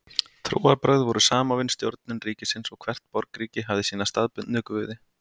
Trúarbrögð voru samofin stjórnun ríkisins og hvert borgríki hafði sína staðbundnu guði.